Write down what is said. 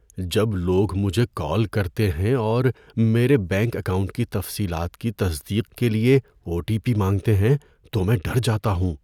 جب لوگ مجھے کال کرتے ہیں اور میرے بینک اکاؤنٹ کی تفصیلات کی تصدیق کے لیے او ٹی پی مانگتے ہیں تو میں ڈر جاتا ہوں۔